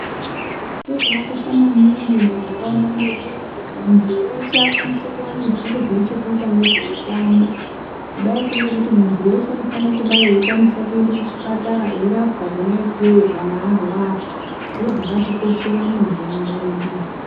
Chiro chaka kosha maningi muma ndaraunda mwedu kuti muntu weshe akwanise kuwane zviro zvine chekuita ngezve utano kudai ko ngekuti muntu weshe unofane kudai eyi kwanisa kuende ku chipatara eyi rapwa kona ikweyo kana arwara zviro zvakati koshera muma ndaraunda mwedu.